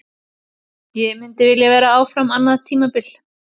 Ég myndi vilja vera áfram annað tímabil.